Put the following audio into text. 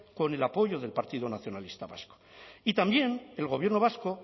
con el apoyo del partido nacionalista vasco y también el gobierno vasco